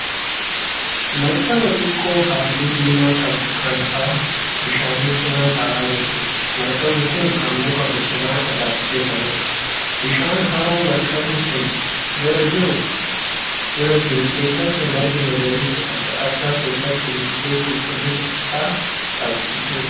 Markaba xiqqoo halluu diimaa qabdu kan hara bishaanii cina ta'aa jirtuudha. Markabni kun kan muka bosonaa irraa hojjetameedha. Bishaan haroo markabni kun bira jiru keessatti margi magariisni adda addaa keessatti biqilee qulqullina isaa dhabsiisee jira.